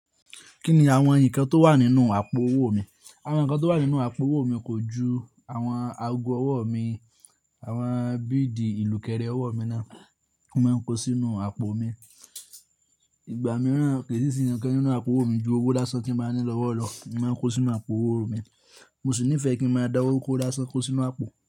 Kí ni àwọn ǹkan tó wà nínú àpò owó mi? Àwọn ǹkan tó wà nínú àpò owó mi kò ju àwọn ago ọwọ́ mi, àwọn bidi ìlúkẹ́rẹ́ ọwọ́ mi náà. Mo máa ń kó sí inú àpò mi. Ìgbà mìíràn kì í sì sí ǹkan nínú àpò owó mi ju owó lásán tí mo bá ní lọ́wọ́ lọ. Mo máa ń kó sí inú àpò owó mi. Mo sì nífẹ̀ẹ́ kí n máa da owó kó lásán kó sí inú àpò.